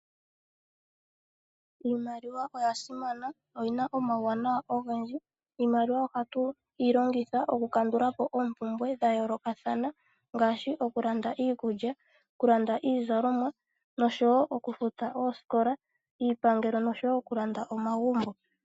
Iimaliwa oyasimana oyina omawuwanawa ogendji, iimaliwa oha tuli longitha okukandulapo ompumbwe dhayolokatha, ngashi okulanda iikulya, okulanda iizalomwa noshowo okufuta oosikola, iipangelo noshowo okulanda omagumbo.